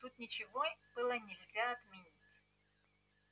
тут ничего было нельзя отменить